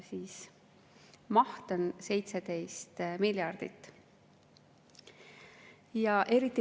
Selle maht on 17 miljardit.